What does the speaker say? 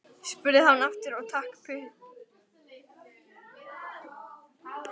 spurði hann aftur og stakk puttanum upp í sig.